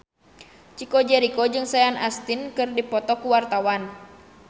Chico Jericho jeung Sean Astin keur dipoto ku wartawan